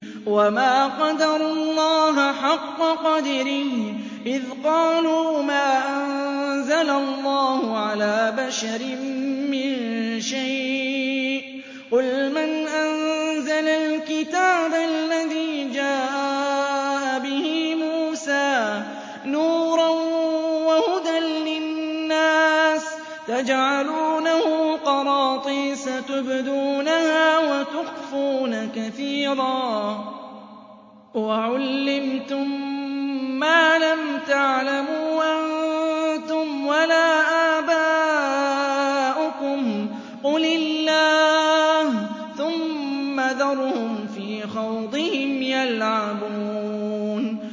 وَمَا قَدَرُوا اللَّهَ حَقَّ قَدْرِهِ إِذْ قَالُوا مَا أَنزَلَ اللَّهُ عَلَىٰ بَشَرٍ مِّن شَيْءٍ ۗ قُلْ مَنْ أَنزَلَ الْكِتَابَ الَّذِي جَاءَ بِهِ مُوسَىٰ نُورًا وَهُدًى لِّلنَّاسِ ۖ تَجْعَلُونَهُ قَرَاطِيسَ تُبْدُونَهَا وَتُخْفُونَ كَثِيرًا ۖ وَعُلِّمْتُم مَّا لَمْ تَعْلَمُوا أَنتُمْ وَلَا آبَاؤُكُمْ ۖ قُلِ اللَّهُ ۖ ثُمَّ ذَرْهُمْ فِي خَوْضِهِمْ يَلْعَبُونَ